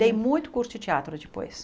Dei muito curso de teatro depois.